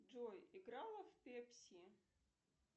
джой играла в пепси